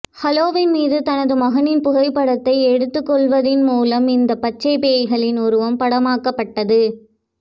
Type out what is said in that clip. Halloween மீது தனது மகனின் புகைப்படத்தை எடுத்துக்கொள்வதன் மூலம் இந்த பச்சை பேய்களின் உருவம் படமாக்கப்பட்டது